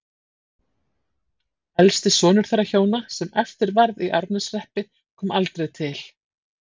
Elsti sonur þeirra hjóna, sem eftir varð í Árneshreppi, kom aldrei til